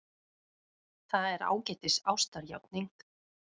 Það er ágætis ástarjátning.